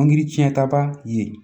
Angiri tiɲɛta ba ye